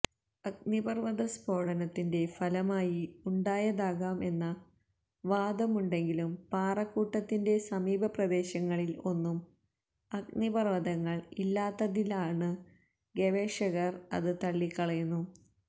അഗ്നിപര്വ്വത സ്ഫോടനത്തിന്റെ ഫലമായി ഉണ്ടായതാകാം എന്ന വാദമുണ്ടെങ്കിലും പാറക്കൂട്ടത്തിന്റെ സമീപപ്രദേശങ്ങളില് ഒന്നും അഗ്നിപര്വ്വതങ്ങള് ഇല്ലാത്തതിനാല് ഗവേഷകര് അത് തള്ളിക്കളയുന്നു